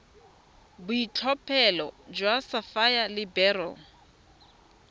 boitlhophelo jwa sapphire le beryl